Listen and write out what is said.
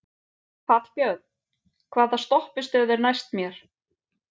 Hallbjörn, hvaða stoppistöð er næst mér?